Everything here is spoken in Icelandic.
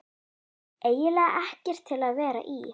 eiginlega ekkert til að vera í.